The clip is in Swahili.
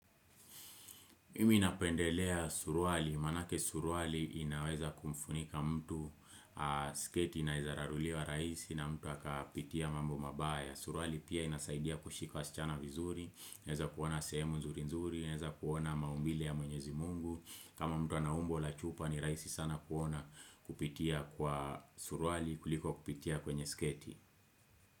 Mimi napendelea surwali, manake surwali inaweza kumfunika mtu, sketi ina weza rarulia rahisi na mtu aka pitia mambo mabaya. Surwali pia inasaidia kushika wasichana vizuri, naweza kuona sehemu nzuri nzuri, naweza kuona maumbile ya mwenyezi Mungu. Kama mtu ana umbo la chupa ni rahisi sana kuona, kupitia kwa surwali kuliko kupitia kwenye sketi.